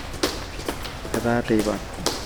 etaa teipa